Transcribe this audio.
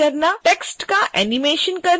text का animation करना